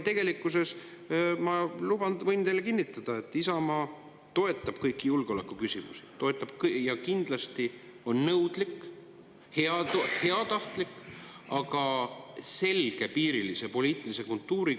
Tegelikkuses ma võin teile kinnitada, et Isamaa toetab kõiki julgeoleku küsimusi ja kindlasti on nõudlik, heatahtlik, aga selgepiirilise poliitilise kultuuriga …